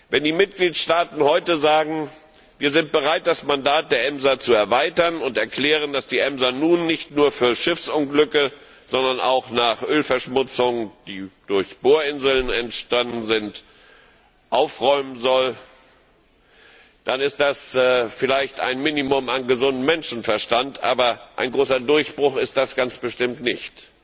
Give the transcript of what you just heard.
Wenn die Mitgliedstaaten heute sagen, wir sind bereit, das Mandat der EMSA zu erweitern, und erklären, dass die EMSA nun nicht nur für Schiffsunglücke zuständig ist, sondern auch nach Ölverschmutzungen, die durch Bohrinseln entstanden sind, aufräumen soll, dann ist das vielleicht ein Minimum an gesundem Menschenverstand, aber ein großer Durchbruch ist das ganz bestimmt nicht.